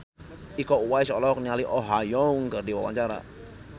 Iko Uwais olohok ningali Oh Ha Young keur diwawancara